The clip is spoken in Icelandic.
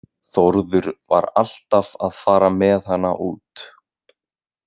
Þórður var alltaf að fara með hana út.